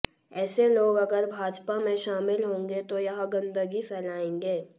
ऐसे लोग अगर भाजपा में शामिल होंगे तो यह गंदगी फैलएंगे